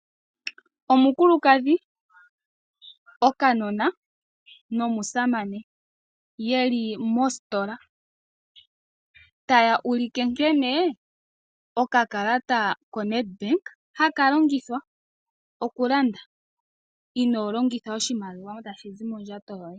Omukulukadhi, okanona nomusamane yeli mositola. Taya ulike nkene okakalata koNedbank haka longithwa, okulanda inoo longitha oshimaliwa tashi zi mondjato yoye.